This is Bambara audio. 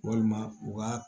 Walima u ka